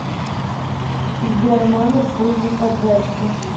сбер номер службы поддержки